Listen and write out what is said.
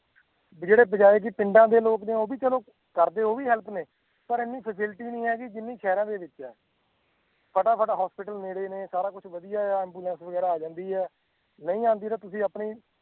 ਜੇੜੇ ਬਜਾਏ ਕਿ ਪਿੰਡਾਂ ਦੇ ਲੋਕ ਨੇ ਉਹ ਵੀ ਚਲੋ ਕਰਦੇ ਉਹ ਵੀ help ਨੇ ਪਰ ਇੰਨੀ facility ਨਹੀਂ ਹੈਗੀ ਜਿੰਨੀ ਸ਼ਹਿਰਾਂ ਦੇ ਵਿੱਚ ਹੈ ਫਟਾਫਟ hospital ਨੇੜੇ ਨੇ, ਸਾਰਾ ਕੁਛ ਵਧੀਆ ਹੈ ambulance ਵਗ਼ੈਰਾ ਆ ਜਾਂਦੀ ਹੈ ਨਹੀਂ ਆਉਂਦੀ ਤਾਂ ਤੁਸੀਂ ਆਪਣੇ